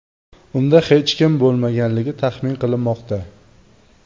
Unda hech kim bo‘lmaganligi taxmin qilinmoqda.